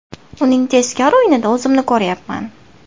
Uning tezkor o‘yinida o‘zimni ko‘ryapman.